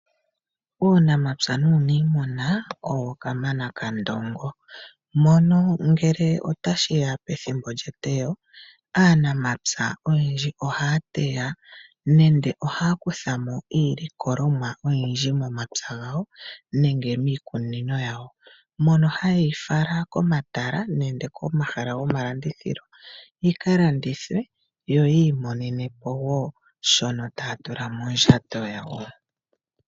Uunamapya nuunimuna owo kamana kandongo mono ngele otashiya pethimbo lyeteyo aanaapya oyendji ohaya teya iilikolomwa yawo etaye yi fala komatala yakalandithe yamone iiyemo yawo.